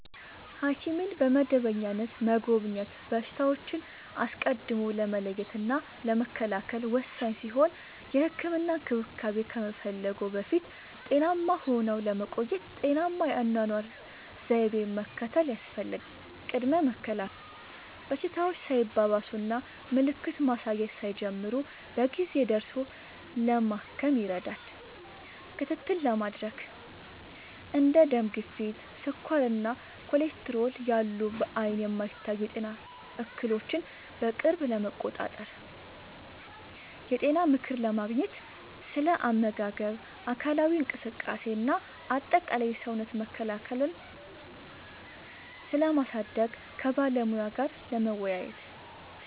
ሐኪምን በመደበኛነት መጎብኘት በሽታዎችን አስቀድሞ ለመለየትና ለመከላከል ወሳኝ ሲሆን፥ የህክምና እንክብካቤ ከመፈለግዎ በፊት ጤናማ ሆነው ለመቆየት ጤናማ የአኗኗር ዘይቤን መከተል ያስፈልጋል። ቅድመ መከላከል፦ በሽታዎች ሳይባባሱና ምልክት ማሳየት ሳይጀምሩ በጊዜ ደርሶ ለማከም ይረዳል። ክትትል ለማድረግ፦ እንደ ደም ግፊት፣ ስኳር እና ኮሌስትሮል ያሉ በዓይን የማይታዩ የጤና እክሎችን በቅርብ ለመቆጣጠር። የጤና ምክር ለማግኘት፦ ስለ አመጋገብ፣ አካላዊ እንቅስቃሴ እና አጠቃላይ የሰውነት መከላከያን ስለማሳደግ ከባለሙያ ጋር ለመወያየት።